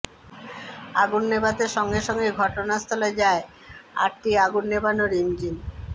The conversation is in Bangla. আগুন নেভাতে সঙ্গে সঙ্গেই ঘটনাস্থলে যায় আটটি আগুন নেভানোর ইঞ্জিন